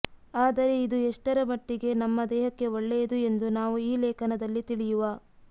ಆದರೆ ಇದು ಎಷ್ಟರ ಮಟ್ಟಿಗೆ ನಮ್ಮ ದೇಹಕ್ಕೆ ಒಳ್ಳೆಯದು ಎಂದು ನಾವು ಈ ಲೇಖನದಲ್ಲಿ ತಿಳಿಯುವ